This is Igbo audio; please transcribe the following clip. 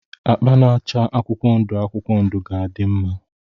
Akpa na-acha akwụkwọ ndụ akwụkwọ ndụ ga-adị mma.